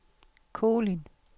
Kolind